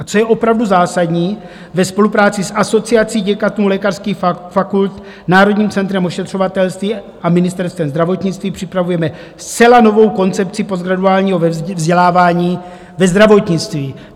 A co je opravdu zásadní, ve spolupráci s Asociací děkanů lékařských fakult, Národním centrem ošetřovatelství a Ministerstvem zdravotnictví připravujeme zcela novou koncepci postgraduálního vzdělávání ve zdravotnictví.